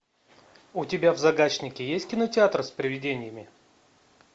у тебя в загашнике есть кинотеатр с привидениями